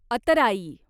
अतराई